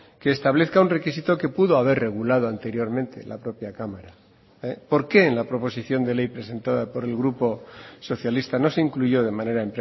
que establezca un requisito que pudo haber regulado anteriormente la propia cámara por qué en la proposición de ley presentada por el grupo socialista no se incluyó de manera